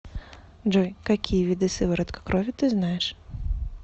джой какие виды сыворотка крови ты знаешь